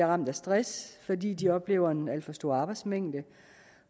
ramt af stress fordi de oplever en alt for stor arbejdsmængde